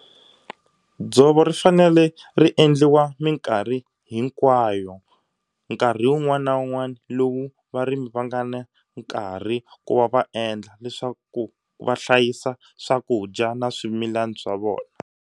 Dzovo ri fanele ri endliwa mikarhi hinkwayo. Nkarhi wun'wana na wun'wana lowu varimi va nga na nkarhi ku va va endla leswaku va hlayisa swakudya na swimilana swa vona.